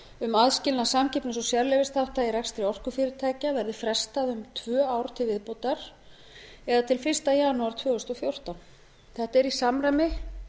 um aðskilnað samkeppnis og sérleyfisþátta í rekstri orkufyrirtækja verði frestað um tvö ár til viðbótar eða til fyrsta janúar tvö þúsund og fjórtán þetta er í samræmi